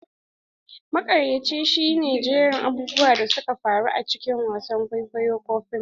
Makirci shi ne jerin abubuwan da suka faru a cikin wasan kwaikwayo ko fim.